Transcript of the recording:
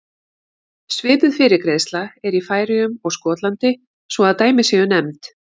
Svipuð fyrirgreiðsla er í Færeyjum og Skotlandi svo að dæmi séu nefnd.